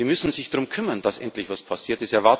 Sie müssen sich darum kümmern, dass endlich etwas passiert!